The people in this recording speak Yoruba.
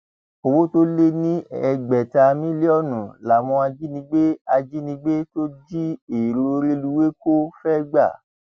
owó tó lé ní ẹgbẹta mílíọnù làwọn ajínigbé ajínigbé tó jí èrò rélùwéè kò fẹẹ gbà